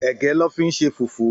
Ègë lò fi n ṣé fúfù